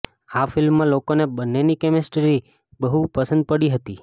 આ ફિલ્મમાં લોકોને બંનેની કેમિસ્ટ્રી બહુ પસંદ પડી હતી